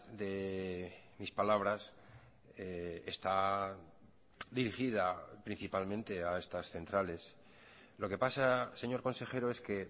de mis palabras está dirigida principalmente a estas centrales lo que pasa señor consejero es que